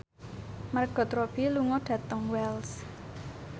Margot Robbie lunga dhateng Wells